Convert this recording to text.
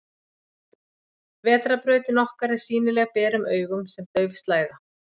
vetrarbrautin okkar er sýnileg berum augum sem dauf slæða